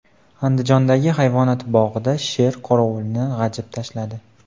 Andijondagi hayvonot bog‘ida sher qorovulni g‘ajib tashladi.